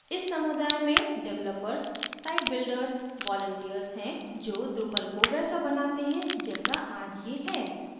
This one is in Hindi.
इस समुदाय में developers sitebuilders वालन्टिर्स volunteers हैं जो drupal को वैसा बनाते हैं जैसा आज ये है